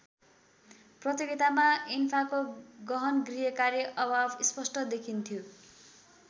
प्रतियोगितामा एन्फाको गहन गृहकार्य अभाव स्पष्ट देखिन्थ्यो।